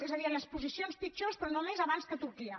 és a dir en les posicions pitjors però només abans que turquia